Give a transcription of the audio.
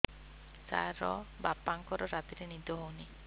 ସାର ବାପାଙ୍କର ରାତିରେ ନିଦ ହଉନି